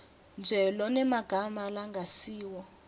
nje lonemagama langasiwo